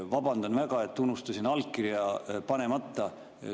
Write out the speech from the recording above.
Vabandan väga, et unustasin allkirja panemata.